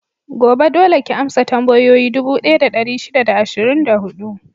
Gobe, dole ki amsa tambayoyi dubu ɗaya da ɗari shida da ashirin da huɗu!